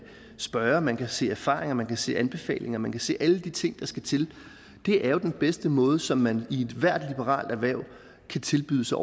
spørge at man kan se erfaringer at man kan se anbefalinger at man kan se alle de ting der skal til det er jo den bedste måde som man i ethvert liberalt erhverv kan tilbyde sig